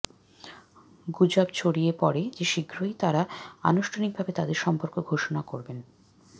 গুজব ছড়িয়ে পরে যে শীঘ্রই তারা আনুষ্ঠানিকভাবে তাদের সম্পর্ক ঘোষণা করবে